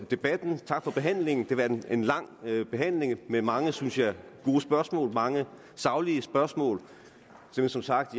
debatten tak for behandlingen det har været en lang behandling med mange synes jeg gode spørgsmål mange saglige spørgsmål jeg er som sagt